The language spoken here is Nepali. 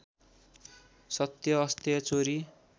सत्य अस्तेय चोरी